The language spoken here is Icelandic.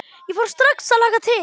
Ég fór strax að hlakka til.